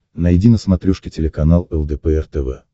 найди на смотрешке телеканал лдпр тв